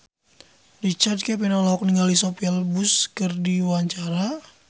Richard Kevin olohok ningali Sophia Bush keur diwawancara